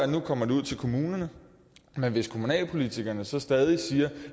nu kommer ud til kommunerne men hvis kommunalpolitikerne stadig siger